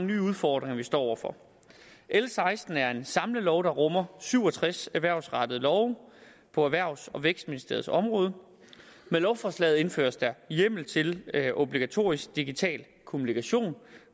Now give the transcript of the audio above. nye udfordringer vi står over for l seksten er en samlelov der rummer syv og tres erhvervsrettede love på erhvervs og vækstministeriets område med lovforslaget indføres der hjemmel til obligatorisk digital kommunikation